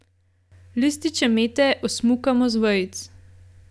Lističe mete osmukamo z vejic.